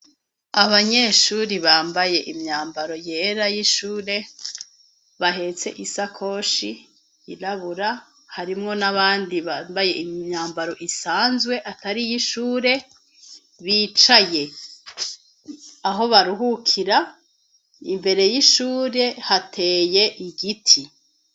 Abanyeshuri bambaye imyambaro yera y'ishure bahetse isa koshi irabura harimwo n'abandi bambaye imyambaro isanzwe atariyo ishure bicaye aho baruhukira imbere y'ishure hateye igiti.